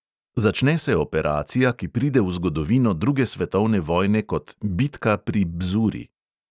Začne se operacija, ki pride v zgodovino druge svetovne vojne kot "bitka pri bzuri".